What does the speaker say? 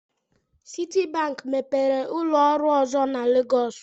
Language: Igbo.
Citibank mepere ụlọ ọrụ ọzọ na Legos.